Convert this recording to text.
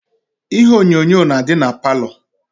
Ihe onyonyo na adi na parlour.